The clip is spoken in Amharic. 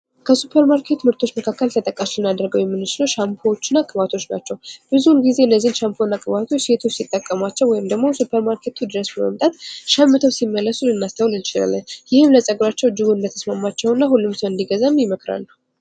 ከሱፐር ማርኬት ምርቶች መካከል ተጠቃሽ ልናደርገዉ የምንችለዉ ሻምፖዎች እና ቅባቶች ናቸዉ። ብዙ ጊዜ ላይ ሻምፖ እና ቅባቶች ሴቶች ሲጠቀሟቸዉ ወይም ደግሞ ሱፐር ማርኬቱ ድረስ በመምጣት ሸምተዉ ሲመጡ ልንመለከታቸዉ እንችላለን። ይህም ለፀጉራቸዉ እንደተስማማቸዉ እና ሁሉም ሰዎች እንዲገዉ ሊመክሯቸዉ ይችላሉ።